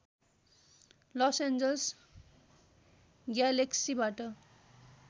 loss Angeles ग्यालेक्सिबाट